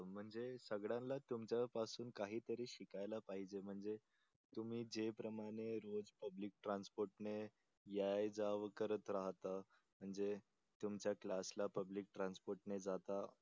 म्हणजे सगळ्यांना तुमच्या पासून काहीतरी शिकायला पाहिजे म्हणजे तुम्ही जे प्रमाणे रोज पब्लिक ट्रान्सपोर्टने याय जाव करत राहता म्हणजे तुमच्या क्लास ला पब्लिक ट्रान्सपोर्टने जाता